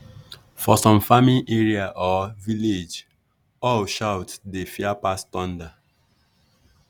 for some farming area or village owl shout dey fear pass thunder.